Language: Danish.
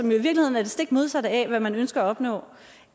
i virkeligheden er det stik modsatte af hvad man ønsker at opnå